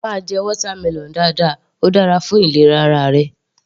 Máa jẹ watermelon dáadáa, óò dára fún ìlera ara rẹ.